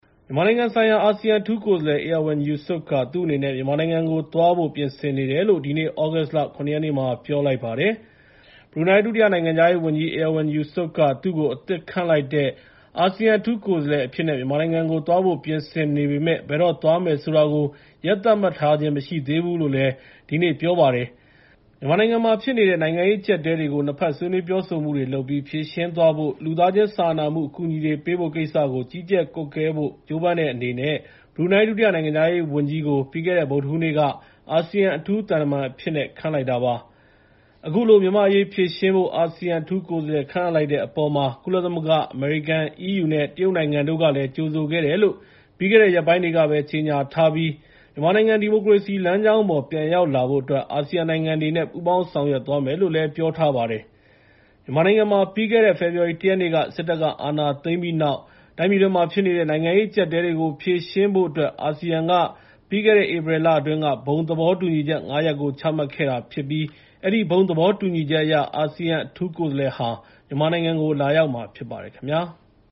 မြန်မာနိုင်ငံဆိုင်ရာ အာဆီယံအထူးကိုယ်စားလှယ် Erywan Yusof က သူ့အနေနဲ့ မြန်မာနိုင်ငံကိုသွားဖို့ ပြင်ဆင်နေတယ်လို့ ဒီနေ့ သြဂုတ်လ ၇ ရက်နေ့မှာပြောလိုက်ပါတယ်။ ဘရူနိုင်း ဒုတိယနိုင်ငံခြားရေးဝန်ကြီး Erywan Yusof က သူ့ကို အသစ်ခန့်အပ်လိုက်တဲ့ အာဆီယံအထူးကိုယ်စားလှယ်အဖြစ်နဲ့ မြန်မာနိုင်ငံကို သွားဖို့ ပြင်ဆင်နေပေမယ့်၊ ဘယ်တော့သွားမယ်ဆိုတာတော့ ရက် သတ်မှတ်ထားခြင်းမရှိသေးဘူးလို့ ဒီနေ့ပြောလိုက်တာပါ။ မြန်မာနိုင်ငံမှာဖြစ်နေတဲ့ နိုင်ငံရေးအကြပ်အတည်းတွေကို ၂ ဘက် ဆွေးနွေးပြောဆိုမှုတွေလုပ်ပြီး ဖြေရှင်းသွားဖို့ နဲ့ လူသားချင်းစာနာမှု အကူအညီတွေပေးဖို့ကိစ္စကို ကြီးကြပ်ကွပ်ကွဲဖို့ ကြိုးပမ်းတဲ့အနေနဲ့ ဘရူနိုင်း ဒုတိယနိုင်ငံခြားရေးဝန်ကြီးကို ပြီးခဲ့တဲ့ ဗုဒ္ဓဟူးနေ့က အာဆီယံအထူးသံတမန်အဖြစ် ခန့်အပ်လိုက်တာဖြစ်ပါတယ်။ အခုလို မြန်မာအရေးဖြေရှင်းဖို့ အာဆီယံအထူးကိုယ်စားလှယ် ခန့်အပ်လိုက်တဲ့အပေါ်မှာ ကုလသမဂ္ဂ အမေရိကန်၊ အီးယူ နဲ့ တရုတ်နိုင်ငံတို့ ကလည်း ကြိုဆိုတယ်လို့ ပြီးခဲ့တဲ့ ရက်ပိုင်းတွေကပဲ ကြေငြာထားပြီး ၊ မြန်မာနိုင်ငံ ဒီမိုကရေစီလမ်းကြောင်းပေါ် ပြန်ရောက်လာဖို့အတွက် အာဆီယံနိုင်ငံတွေနဲ့ ပူးပေါင်းဆောင်ရွက်သွားမယ်လို့လည်း ပြောထားပါတယ်။ မြန်မာနိုင်ငံမှာ ပြီးခဲ့တဲ့ ဖေဖော်ဝါရီလ ၁ ရက်နေ့ စစ်တပ်က အာဏာသိမ်းပြီးတဲ့နောက် ၊ တိုင်းပြည်တွင်းမှာဖြစ်နေတဲ့ နိုင်ငံရေးအကြပ်အတည်းတွေကို ဖြေရှင်းဖို့အတွက် အာဆီယံက ပြီးခဲ့တဲ့ ဧပြီလအတွင်းက ဘုံသဘောတူညီချက် ၅ ရပ်ကို ချမှတ်ခဲ့တာဖြစ်ပြီး၊ အဲဒီဘုံသဘောတူညီချက်အရ၊ အာဆီယံ အထူးကိုယ်စားလှယ်ဟာ မြန်မာနိုင်ငံကို လာရောက်မှာဖြစ်ပါတယ်ခင်ဗျာ။